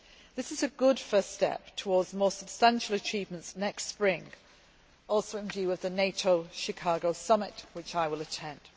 This is a good first step towards more substantial achievements next spring, also in view of the NATO Chicago summit which I will attend.